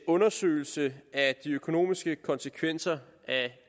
undersøgelse af de økonomiske konsekvenser af